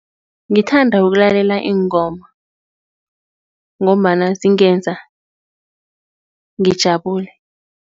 Ngithanda ukulalela iingoma ngombana zingenza ngijabule.